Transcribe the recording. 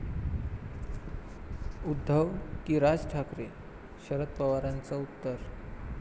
उद्धव की राज ठाकरे?, शरद पवारांचं उत्तर...